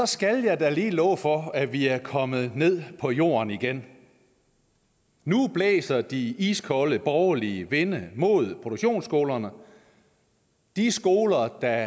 skal da lige love for at vi er kommet ned på jorden igen nu blæser de iskolde borgerlige vinde mod produktionsskolerne de skoler der